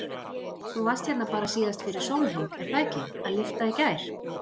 Þú varst hérna bara síðast bara fyrir sólarhring, er það ekki, að lyfta í gær?